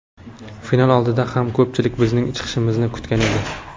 Final oldidan ham ko‘pchilik bizning chiqishimizni kutgan edi.